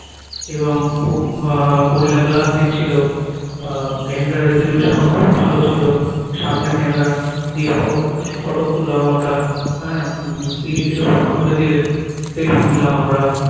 এবং খুব আহ gorilla glass দিচ্ছিলো আহ camera resolution ও খুব ভালো ছিলো সামনের camera দিয়ে photo কু কিছু photo তুললাম আমরা হ্যাঁ তিনি কিছু photo তুলে দিলেন selfie নিলাম আমরা